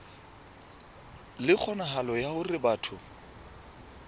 le kgonahalo ya hore batho